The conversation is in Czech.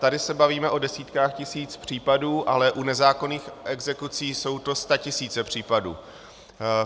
Tady se bavíme o desítkách tisíc případů, ale u nezákonných exekucí jsou to statisíce případů.